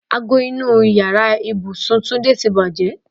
Ago inú ìyára ibùsùn Túndé ti bàjẹ́.